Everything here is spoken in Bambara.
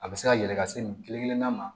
A bɛ se ka yɛlɛ ka se nin kelenkelenna ma